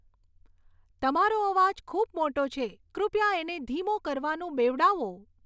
તમારો અવાજ ખૂબ મોટો છે કૃપયા એને ધીમો કરવાનું બેવડાવો